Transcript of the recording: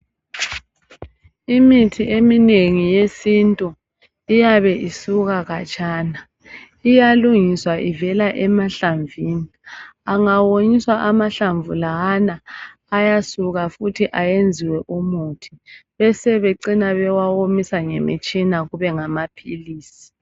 Imithi eminengi yesintu iyabe isuka khatshana iyalungiswa ivela emahlamvini. Angawonyiswa amahlamvu lawa ayasuka futhi ayenziwe umuthi besebecina bewawomisa ngemitshina kube ngamaphilisi.